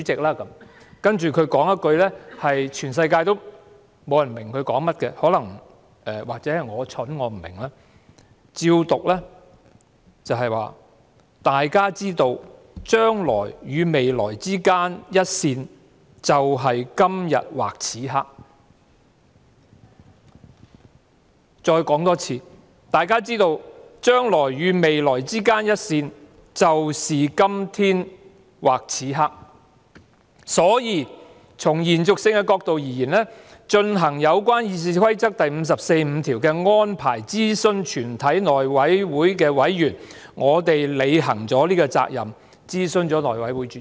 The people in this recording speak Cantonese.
"接着局長說了一句全世界也不明白的說話——可能是我愚蠢，我不明白——我依稿讀出："大家知道，將來與未來之間一線，就是今天或此刻"；我再重複："大家知道，將來與未來之間一線，就是今天或此刻，所以從延續性的角度而言，進行有關《議事規則》第545條的安排諮詢全體內委會委員，我們履行了這個責任諮詢內委會主席。